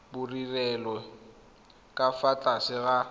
bodirelo ka fa tlase ga